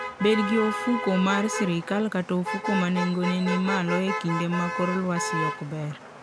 Bed gi ofuko mar sirkal kata ofuko ma nengone ni malo e kinde ma kor lwasi ok ber.